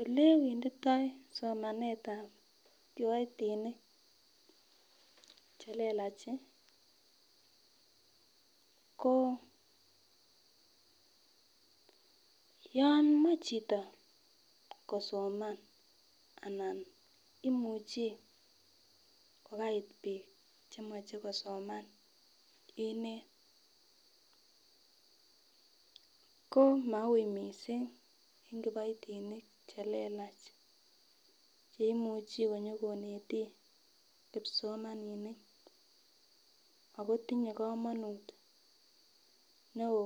Olewenditoi somanetab kiboitinik chelelachi ko yon moi chito kosoman anan imuchi ko kiait bik chemoche kosoman inet ko mau missing en kiboitinik chelelachi cheimuchi konyokonete kipsomaninik Ako tinye komonut neo